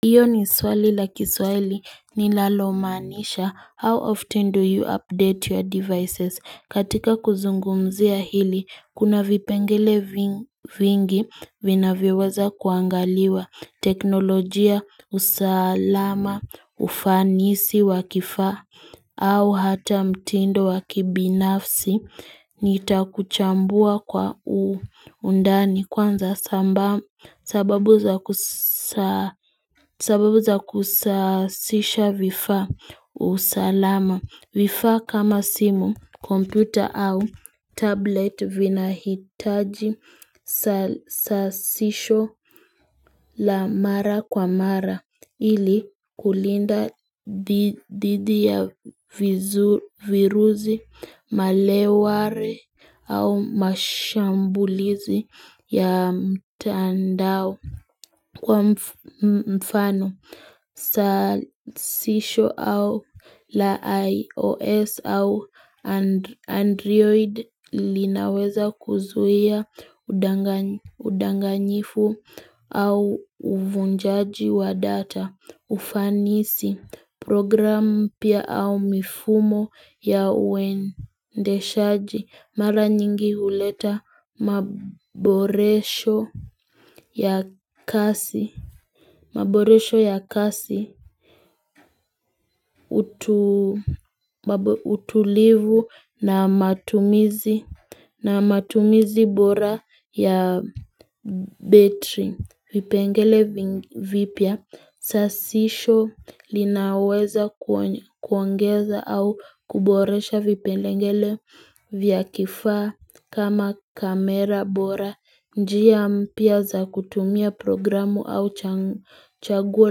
Hiyo ni swali la kiswahili nilalomaanisha how often do you update your devices katika kuzungumzia hili kuna vipengele vingi vinavyoweza kuangaliwa teknolojia usalama ufanisi wakifaa au hata mtindo wakibinafsi, nitakuchambua kwa undani kwanza sababu za kusasisha vifaa usalama. Vifaa kama simu, kompyuta au tablet vinahitaji sasisho la mara kwa mara ilikulinda dhidi ya virusi, maleware au mashambulizi ya mtandao kwa mfano. Sasisho au la iOS au Android linaweza kuzuia udanganyifu au uvunjaji wa data. Ufanisi program pia au mifumo ya uendeshaji mara nyingi huleta maboresho ya kasi utulivu na matumizi bora ya betri. Vipengele vipya sasisho linaweza kuongeza au kuboresha vipengele vya kifaa kama kamera bora njia mpya za kutumia programu au chaguo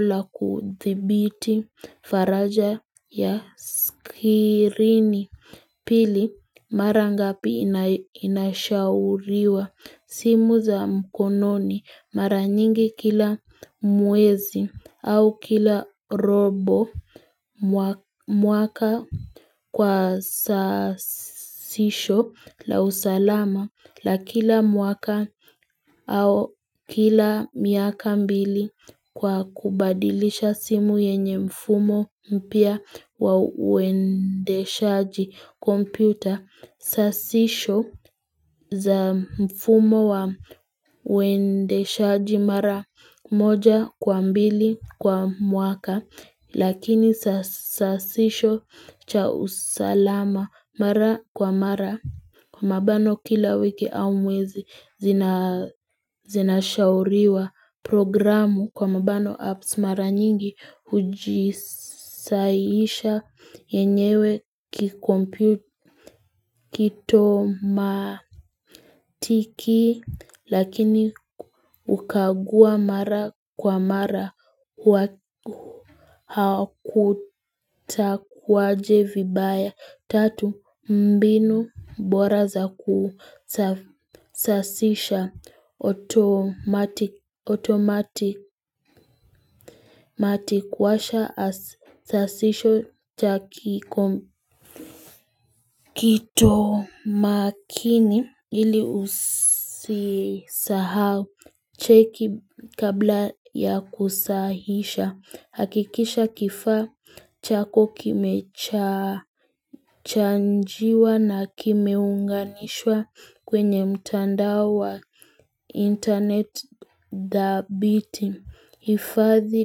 la kuthibiti faraja ya skirini Pili mara ngapi inashauriwa simu za mkononi mara nyingi kila mwezi au kila robo mwaka kwa sasisho la usalama la kila mwaka au kila miaka mbili kwa kubadilisha simu yenye mfumo mpya wauendeshaji kompyuta sasisho za mfumo waendeshaji mara moja kwa mbili kwa mwaka lakini sasisho cha usalama mara kwa mara Kwa mabano kila wiki au mwezi zinashauriwa programu kwa mabano apps mara nyingi hujisaiisha yenyewe matiki Lakini hukagua mara kwa mara kutakuwaje vibaya. Tatu mbinu bora za kusasisha otomati kuwasha sasisho cha kiko. Kito makini ili usisahau cheki kabla ya kusahihisha hakikisha kifaa chako kimecha kimechajiwa na kimeunganishwa kwenye mtandao wa internet dhabiti kuhifadhi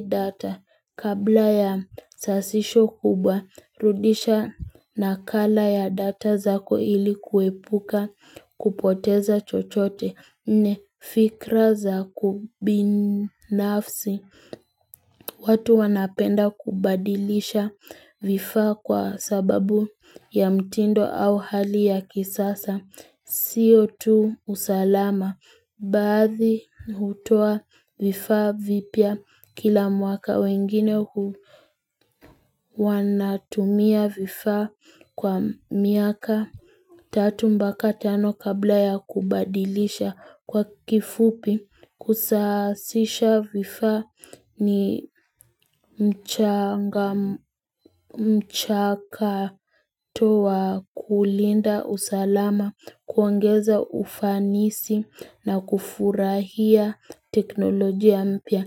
data kabla ya sasisho kubwa rudisha nakala ya data zako ilikuepuka kupoteza chochote, nne fikra za kibinafsi. Watu wanapenda kubadilisha vifaa kwa sababu ya mtindo au hali ya kisasa siyo tu usalama baadhi hutoa vifaa vipya kila mwaka wengine wanatumia vifaa kwa miaka Tatu mpaka tano kabla ya kubadilisha kwa kifupi. Kusasiha vifaa ni mchakato wa kulinda usalama kuongeza ufanisi na kufurahia teknolojia mpya.